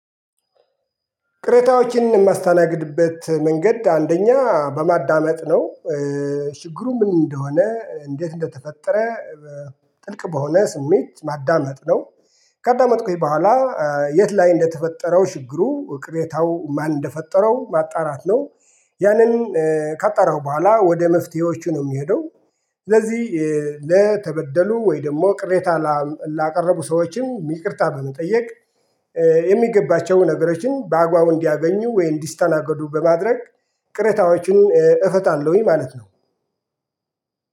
ቅሬታዎችን የማስተናግድበት መንገድ አንደኛ በማዳመጥ ነው። ችግሩ ምን እንደሆነ እንዴት እንደተፈጠረ ጥልቅ በሆነ ስሜት ማዳመጥ ነው። ካዳመጥኩኝ በኋላ። የት ላይ እንደተፈጠረው ችግሩ ቅሬታው ማን እንደፈጠረው ማጣራት ነው። ያንን ካጠራው በኋላ ወደ መፍትሄዎቹ ነው የሚሄደው። ስለዚህ ለተበደሉ ወይ ደግሞ ቅሬታ ላቀረቡ ሰዎችም ይቅርታ በመጠየቅ የሚገባቸውን ነገሮችን በአግባቡ እንዲያገኙ ወይ እንዲስተናገዱ በማድረግ ቅሬታዎችን እፈታለሁኝ። ማለት ነው።